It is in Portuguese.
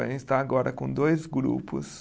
A gente está agora com dois grupos